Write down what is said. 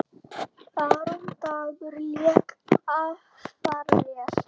Aron Dagur lék afar vel.